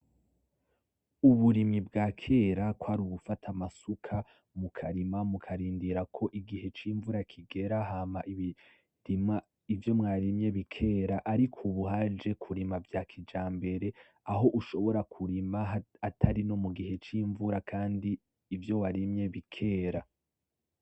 Uburimyi bwakera kwari ugufata amasuka mukarima mukarindira ko igihe cimvura kigera hama imirima ivyo mwarimye bikera, ariko ubu haje kurima vya kijambere aho ushobora kurima atarino mugihe cimvura kandi ivyo warimye bikera.